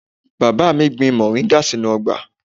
Bàbá mi gbìn moringa sínú ọgbà.